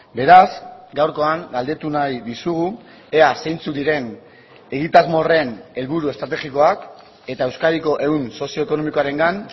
beraz gaurkoan galdetu nahi dizugu ea zeintzuk diren egitasmo horren helburu estrategikoak eta euskadiko ehun sozioekonomikoarengan